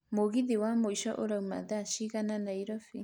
mũgithi wa mũico ũrauma thaa cigana nairobi